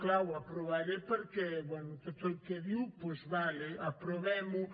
clar ho aprovaré perquè bé tot el que diu doncs d’acord aprovem ho